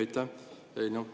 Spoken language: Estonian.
Aitäh!